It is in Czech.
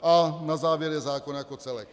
A na závěr je zákon jako celek.